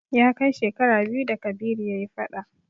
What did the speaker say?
Ya kai shekara biyu da Kabiru ya yi fada.